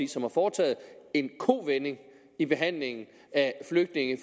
som har foretaget en kovending i behandlingen af flygtninge